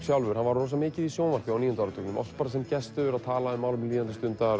sjálfur var rosamikið í sjónvarpi á níunda áratugnum oft bara sem gestur tala um málefni líðandi stundar